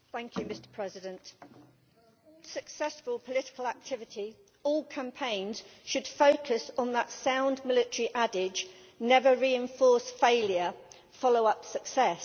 Mr President, successful political activity or campaigns should focus on that sound military adage Never reinforce failure follow up success.'